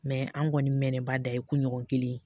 Mɛ an kɔni mɛɛnnen ba dan ye kunɲɔgɔn kelen